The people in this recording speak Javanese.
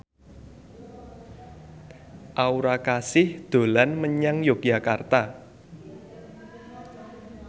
Aura Kasih dolan menyang Yogyakarta